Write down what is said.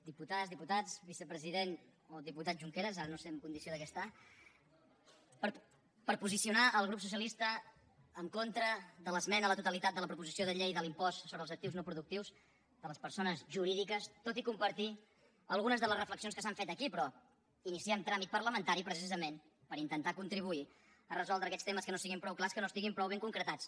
diputades diputats vicepresident o diputat junqueras ara no sé en condició de què està per posicionar el grup socialista en contra de l’esmena a la totalitat de la proposició de llei de l’impost sobre els actius no productius de les persones jurídiques tot i compartir algunes de les reflexions que s’han fet aquí però iniciem tràmit parlamentari precisament per intentar contribuir a resoldre aquests temes que no siguin prou clars que no estiguin prou ben concretats